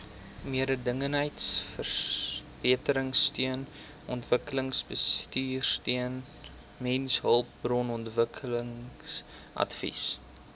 mededingendheidsverbeteringsteun omgewingsbestuursteun mensehulpbronontwikkelingsadvies